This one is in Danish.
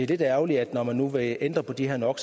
lidt ærgerligt når man nu vil ændre på de her no